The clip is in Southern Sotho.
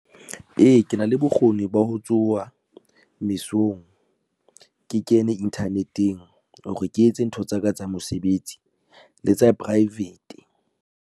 Ee, ke na le bokgoni ba ho tsoha mesong. Ke kene internet-eng hore ke etse ntho tsaka tsa mosebetsi le tsa private.